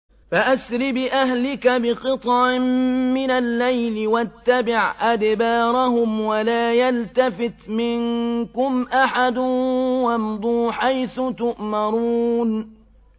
فَأَسْرِ بِأَهْلِكَ بِقِطْعٍ مِّنَ اللَّيْلِ وَاتَّبِعْ أَدْبَارَهُمْ وَلَا يَلْتَفِتْ مِنكُمْ أَحَدٌ وَامْضُوا حَيْثُ تُؤْمَرُونَ